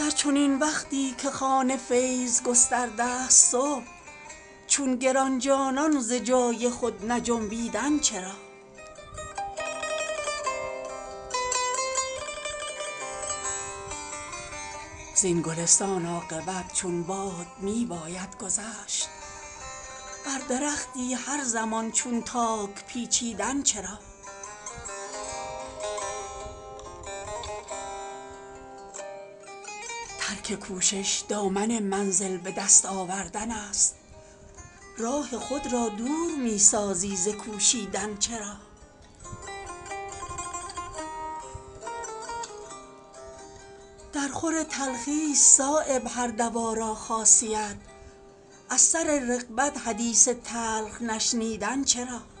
در چنین وقتی که خوان فیض گسترده است صبح چون گرانجانان ز جای خود نجنبیدن چرا زین گلستان عاقبت چون باد می باید گذشت بر درختی هر زمان چون تاک پیچیدن چرا ترک کوشش دامن منزل به دست آوردن است راه خود را دور می سازی ز کوشیدن چرا درخور تلخی است صایب هر دوا را خاصیت از سر رغبت حدیث تلخ نشنیدن چرا